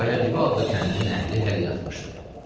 Qayadibi adlı kəndin əhli hələ yatmışdı.